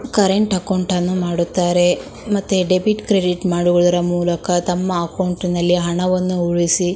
Current ಅಕೌಂಟನ್ನು ಮಾಡುತ್ತಾರೆ ಮತ್ತೆ ಡೆಬಿಟ್ ಕ್ರೆಡಿಟ್ ಮಾಡುವುದರ ಮೂಲಕ ತಮ್ಮ ಅಕೌಂಟ್ ನಲ್ಲಿ ಹಣವನ್ನು ಉಳಿಸಿ.